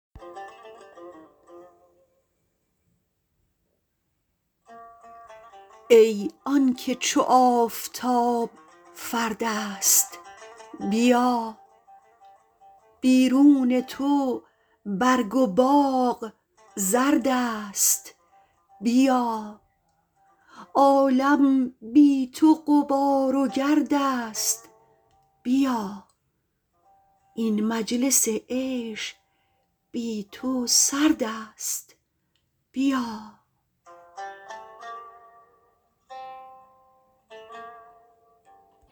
ای آنکه چو آفتاب فرد است بیا بیرون تو برگ و باغ زرد است بیا عالم بی تو غبار و گرد است بیا این مجلس عیش بی تو سرد است بیا